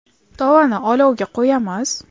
Tovani olovga qo‘yamiz.